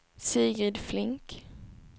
Sigrid Flink